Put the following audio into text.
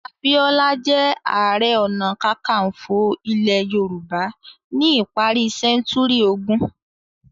Abiola jẹ́ ààrẹ-ọnà-káńkafo ilẹ̀ Yorùbá ní ìparí sẹ́ńtúrì ogún.